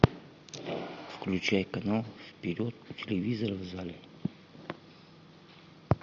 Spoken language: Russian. включай канал вперед у телевизора в зале